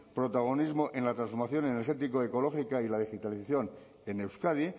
protagonismo en la transformación energético ecológica y la digitalización en euskadi